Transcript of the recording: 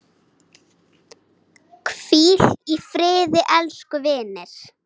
Hvíl í friði, elsku vinur.